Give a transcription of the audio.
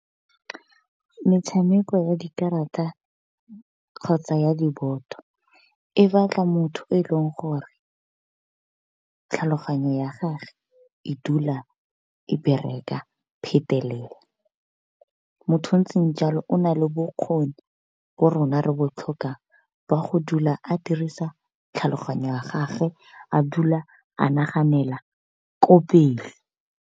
Metshameko ya dikarata kgotsa ya diboto e batla motho yo e leng gore, tlhaloganyo ya gage e dula e bereka phetelela. Motho a ntseng jalo o nale bokgoni bo rona re bo tlhokang, ba go dula a dirisa tlhaloganyo ya gage a dula a naganela ko pele.